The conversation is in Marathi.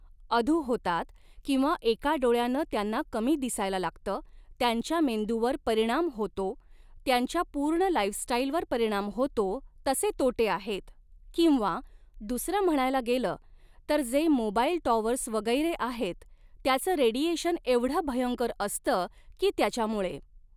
अधू होतात किंवा एका डोळ्यानं त्यांना कमी दिसायला लागतं त्यांच्या मेंदूवर परिणाम होतो त्यांच्या पूर्ण लाईफस्टाईलवर परिणाम होतो तसे तोटे आहेत किंवा दुसरं म्हणायला गेलं तर जे मोबाईल टॉवर्स वगैरे आहेत त्याचं रेडिएशन एवढं भयंकर असतं की त्याच्यामुळे